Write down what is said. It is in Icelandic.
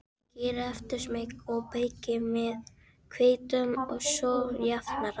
Sykrið eftir smekk og þykkið með hvítum sósujafnara.